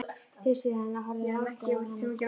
Systir hennar horfði háðslega á hana.